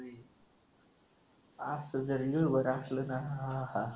असं जरी वर असलं ना आहा.